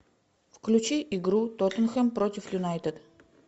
включи игру тоттенхэм против юнайтед